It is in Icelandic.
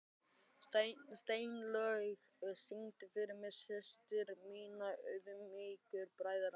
Steinlaug, syngdu fyrir mig „Systir minna auðmýktu bræðra“.